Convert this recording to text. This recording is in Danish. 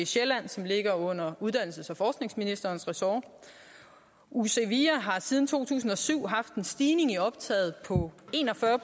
sjælland som ligger under uddannelses og forskningsministerens ressort uc via har siden to tusind og syv haft en stigning i optaget på en og fyrre